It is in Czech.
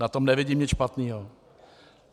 Na tom nevidím nic špatného.